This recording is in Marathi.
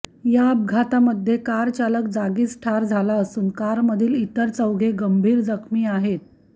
या अपघातामध्ये कारचालक जागीच ठार झाला असून कारमधील इतर चौघे गंभीर जखमी आहेत